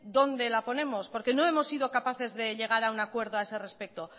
dónde la ponemos porque no hemos sido capaces de llegar a un acuerdo a ese respecto